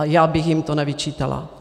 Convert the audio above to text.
A já bych jim to nevyčítala.